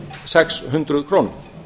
sex hundruð krónum